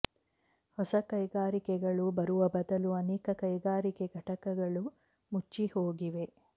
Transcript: ಹೊಸ ಕೈಗಾರಿಕೆಗಳು ಬರುವ ಬದಲು ಅನೇಕ ಕೈಗಾರಿಕೆ ಘಟಕಗಳು ಮುಚ್ಚಿಹೋಗಿವೆ